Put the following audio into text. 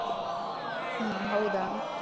ಹಾ ಹೌದಾ.